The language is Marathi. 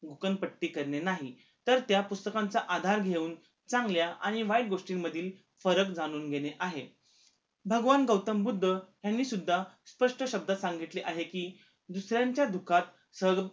भूकंपट्टी करणे नाही तर त्या पुस्तकांचा आधार घेऊन चांगल्या आणि वाईट गोष्टी मधील फरक जाणून घेणे आहे भगवान गौतमबुद्ध ह्यांनी सुद्धा स्पष्ट शब्दात सांगितले आहे कि दुसऱ्यांच्या दुःखात सहभाग